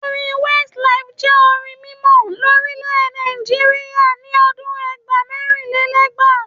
Orin Westlife jẹ́ orin mímọ lórílèè Nàìjíríà ni ọdún ẹgbàá - mẹ́rinlélẹ́gbàá.